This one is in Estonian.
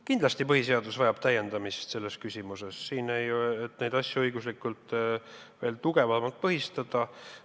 Kindlasti vajab põhiseadus täiendamist selles küsimuses, et neid asju õiguslikult veel tugevamalt põhistada.